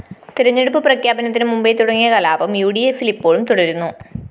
തെരഞ്ഞെടുപ്പ് പ്രഖ്യാപനത്തിന് മുമ്പേ തുടങ്ങിയ കലാപം യുഡിഎഫില്‍ ഇപ്പോഴും തുടരുന്നു